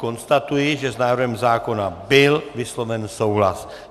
Konstatuji, že s návrhem zákona byl vysloven souhlas.